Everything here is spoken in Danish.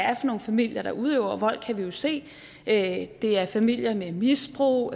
er for nogle familier der udøver vold kan vi jo se at det er familier med misbrug